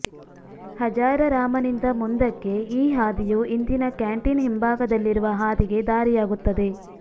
ಹಜಾರರಾಮನಿಂದ ಮುಂದಕ್ಕೆ ಈ ಹಾದಿಯು ಇಂದಿನ ಕ್ಯಾಂಟೀನ್ನ ಹಿಂಭಾಗದಲ್ಲಿರುವ ಹಾದಿಗೆ ದಾರಿಯಾಗುತ್ತದೆ